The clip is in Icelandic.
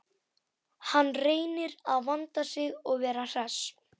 Hann reynir að vanda sig og vera hress.